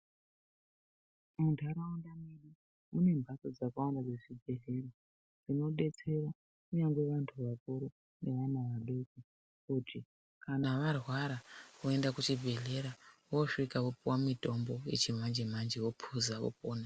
Mundaraunda mwedu mune mhatso dzakawanda dzezvibhehlera ,dzinodetsera kunyange vantu vakuru nevana vadoko kuti kana arwara oenda kuchibhehlera osvika opuwa mutombo yechimanje manje opuza opona.